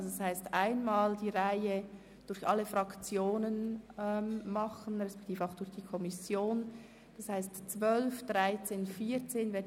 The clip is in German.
Das heisst, ich möchte einmal alle Fraktionen beziehungsweise die zuständige Kommission dazu sprechen lassen.